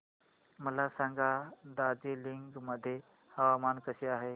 मला सांगा दार्जिलिंग मध्ये हवामान कसे आहे